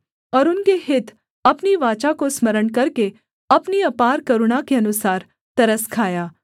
और उनके हित अपनी वाचा को स्मरण करके अपनी अपार करुणा के अनुसार तरस खाया